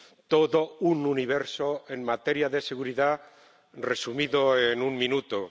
Todo un universo en materia de seguridad resumido en un minuto.